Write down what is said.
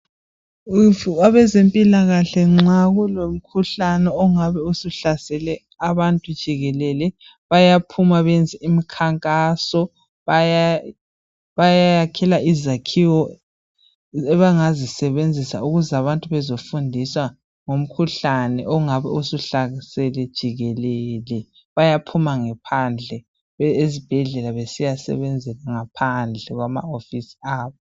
Abezempilakahle nxa kungabe sekulomkhuhlane ingabe usuhlasele abantu jikelele bayaphuma bayenze imkhankaso bayayakhela izakhiwo abangazisebenzisa ukuze abantu bezofundiswa ngomkhuhlane ongabe usuhlaselele jikelele. Bayaphuma ngaphandle kwezibhedlela besiyasebenzela ngaphandle kwamawofisi abo.